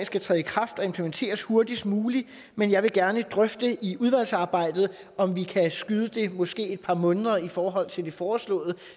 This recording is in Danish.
skal træde i kraft og implementeres hurtigst muligt men jeg vil gerne drøfte i udvalgsarbejdet om vi kan skyde det måske et par måneder i forhold til det foreslåede